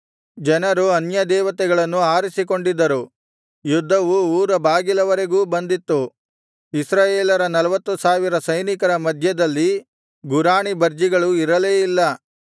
ಜನರು ಅನ್ಯದೇವತೆಗಳನ್ನು ಆರಿಸಿಕೊಂಡಿದ್ದರು ಯುದ್ಧವು ಉರುಬಾಗಿಲವರೆಗೂ ಬಂದಿತ್ತು ಇಸ್ರಾಯೇಲರ ನಲ್ವತ್ತು ಸಾವಿರ ಸೈನಿಕರ ಮಧ್ಯದಲ್ಲಿ ಗುರಾಣಿ ಬರ್ಜಿಗಳು ಇರಲೇ ಇಲ್ಲ